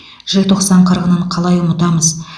желтоқсан қырғынын қалай ұмытамыз